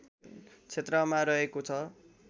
क्षेत्रमा रहेको छ